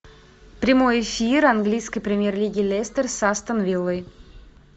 прямой эфир английской премьер лиги лестер с астон виллой